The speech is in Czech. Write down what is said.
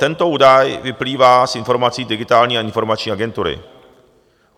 Tento údaj vyplývá z informací Digitální a informační agentury.